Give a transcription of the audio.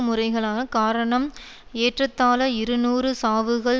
முறைகளக காரணம் ஏற்றத்தாழ இருநூறு சாவுகள்